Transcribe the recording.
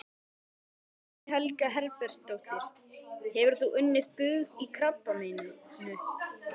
Guðný Helga Herbertsdóttir: Hefur þú unnið bug á krabbameininu?